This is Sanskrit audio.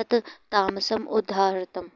तत् तामसम् उदाहृतम्